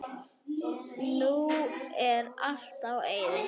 Nú er allt í eyði.